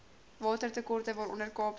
watertekorte waaronder kaapstad